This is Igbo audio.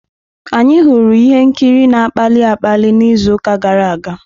Anyị hụrụ ihe nkiri na-akpali akpali n'izu gara aga.